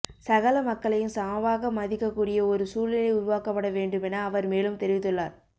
சகல மக்களையும் சமமாக மதிக்கக் கூடிய ஓர் சூழ்நிலை உருவாக்கப்பட வேண்டுமென அவர் மேலும் தெரிவித்துள்ளார்